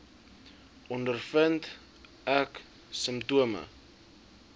ondervind ek simptome